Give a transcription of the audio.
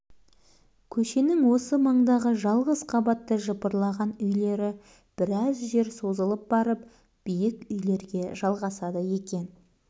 көшенің осы маңдағы жалғыз қабатты жыпырлаған үйлері біраз жер созылып барып биік үйлерге жалғасады екен